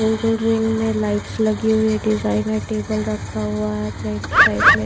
गोल gold ring में lights लगी हुई है डिजाइनर टेबल रखा हुआ है फ्रेंच टाइप में--